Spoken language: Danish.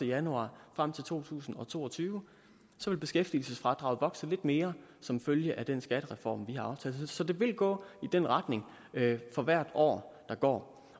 januar frem til to tusind og to og tyve vil beskæftigelsesfradraget vokse lidt mere som følge af den skattereform vi har aftalt så det vil gå i den retning for hvert år der går